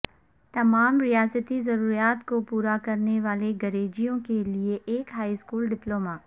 تمام ریاستی ضروریات کو پورا کرنے والے گریجویوں کے لئے ایک ہائی اسکول ڈپلوما